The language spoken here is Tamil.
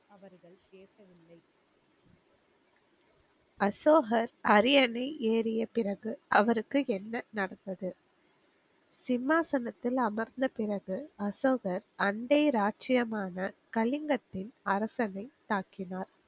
அசோகர் அரியணை ஏரியப்பிறகு அவருக்கு என்ன நடந்தது? சிம்மாசனத்தில் அமர்ந்த பிறகு அசோகர் அண்டைய ராஜியமான கலிங்கத்தின் அரசனை தாக்கினார்.